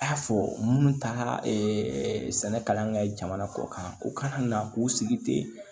A y'a fɔ minnu taara sɛnɛ kalan kɛ jamana kɔkan u kana na k'u sigi ten